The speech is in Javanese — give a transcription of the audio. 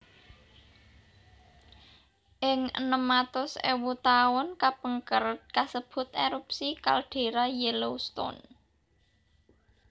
Ing enem atus ewu taun kapengker kasebat Erupsi Kaldera Yellowstone